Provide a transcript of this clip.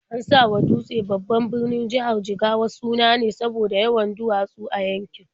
An sawa Dutse, babban birnin jihar Jigawa, suna ne saboda yawan duwatsu a yankin.